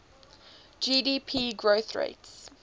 gdp growth rates